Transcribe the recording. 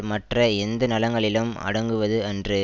மற்ற எந்த நலங்களிலும் அடங்குவது அன்று